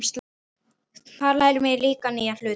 Þar lærum við nýja hluti.